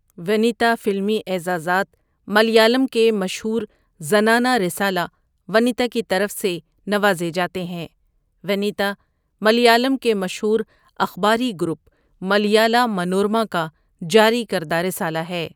وَنِتا فلمی اعزازات ملیالم کے مشہور زنانہ رسالہ ونِتا کی طرف سے نوازے جاتے ہیں وَنِتا ملیالم کے مشہور اخباری گروپ ملیالا منورما کا جاری کردہ رسالہ ہے